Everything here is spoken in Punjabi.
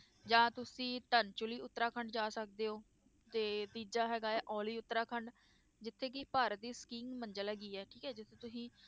ਜਾਂ ਤੁਸੀਂ ਧਰਜੁਲੀ ਉਤਰਾਖੰਡ ਜਾ ਸਕਦੇ ਹੋ ਤੇ ਤੀਜਾ ਹੈਗਾ ਹੈ ਓਲੀ ਉਤਰਾਖੰਡ ਜਿੱਥੇ ਕਿ ਭਾਰਤ ਦੀ ਮੰਜ਼ਿਲ ਹੈਗੀ ਹੈ ਠੀਕ ਹੈ ਜਿੱਥੇ ਤੁਸੀਂ